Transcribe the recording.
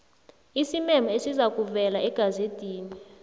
isimemo esizakuvezwa egazedini